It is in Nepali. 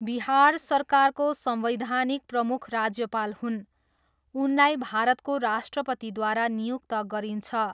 बिहार सरकारको संवैधानिक प्रमुख राज्यपाल हुन्, उनलाई भारतको राष्ट्रपतिद्वारा नियुक्त गरिन्छ।